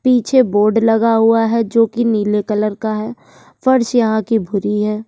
पीछे बोर्ड लगा हुआ है जोकि नीले कलर का है। फर्श यहां की भूरी है।